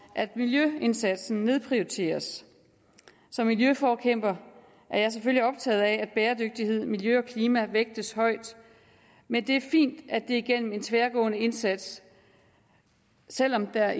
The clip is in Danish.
at miljøindsatsen nedprioriteres som miljøforkæmper er jeg selvfølgelig optaget af at bæredygtighed miljø og klima vægtes højt men det er fint at det er igennem en tværgående indsats selv om der